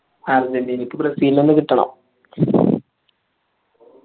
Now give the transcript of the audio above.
അർജന്റീനക്ക് ബ്രസീൽനെ തെന്നെ കിട്ടണം